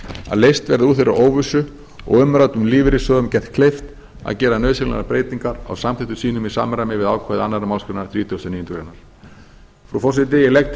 að leyst verði úr þeirri óvissu og umræddum lífeyrissjóðum gert kleift að gera nauðsynlegar breytingar á samþykktum sínum í samræmi við ákvæði annarrar málsgreinar þrítugustu og níundu grein frú forseti ég legg